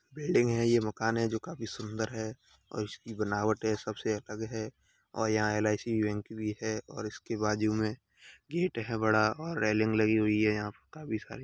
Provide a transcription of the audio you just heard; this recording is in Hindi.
बिल्डिंग है ये मकान है जो कि काफी सुन्दर है और इसकी बनावट है सबसे अलग है और यहाँ एल_आई_सी बैंक भी है और इसके बाजू में गेट है बड़ा और रेलिंग लगी हुई है यहाँ पे काफी सारी --